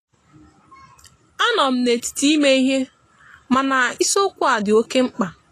anọm na etiti ime ihe mana ịsiokwu a di oke mkpa.